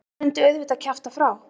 Hún myndi auðvitað kjafta frá.